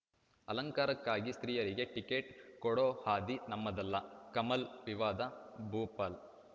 ಅಲಂಕಾರಕ್ಕಾಗಿ ಸ್ತ್ರೀಯರಿಗೆ ಟಿಕೆಟ್‌ ಕೊಡೋ ಹಾದಿ ನಮ್ಮದಲ್ಲ ಕಮಲ್‌ ವಿವಾದ ಭೋಪಾಲ್‌